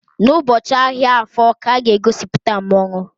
N'ụbọchị ahịa Afor ka a ga-egosipụta mmonwu.